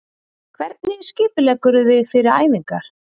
Hvernig skipuleggurðu þig fyrir æfingar?